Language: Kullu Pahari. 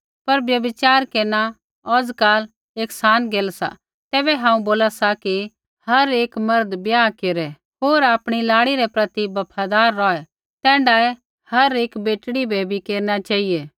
पर व्यभिचार केरना औजकाल एक सान गैल सा तैबै हांऊँ बोला सा कि हर एक मर्द ब्याह केरै होर आपणी लाड़ी रै प्रति बफादार रौहै तैण्ढाऐ हर एक बेटड़ी बै भी केरना चेहिऐ